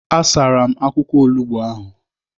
A sara m akwụkwọ olugbo ahụ.